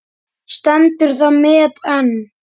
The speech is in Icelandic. Stendur það met enn.